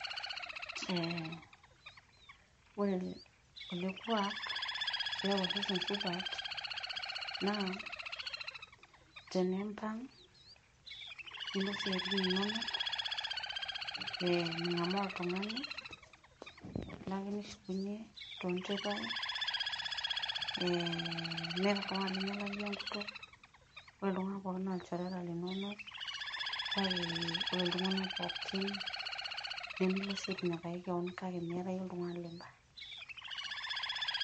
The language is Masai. Ee ore ele kuak keep osesen supat naa teniimbang nilo isiatin inono, mingamaa oltungani ilo ake nishukunyue too nteipai, meeta oltungani linyialaki iyie enkutuk, ore iltunganak pookin naa ilchoreta linono kake ore iltunganak pookin nimilo sii atinyikaki kewon kake meeta iyie oltungani limba.